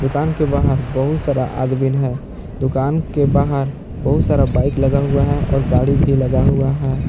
दुकान के बाहर बहुत सारा आदमीन है दुकान के बाहर बहुत सारा बाइक लगा हुआ है और गाड़ी भी लगा हुआ है।